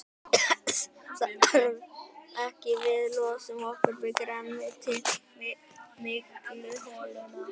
Þess þarf ekki, við losum okkur við grænmetið í mygluholuna.